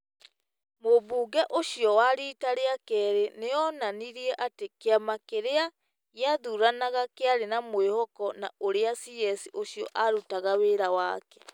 Mũmbunge ũcio wa rita rĩa kerĩ nĩ onanirie atĩ kĩama kĩrĩa kĩathuranaga kĩarĩ na mwĩhoko na ũrĩa CS ũcio arutaga wĩra wake ,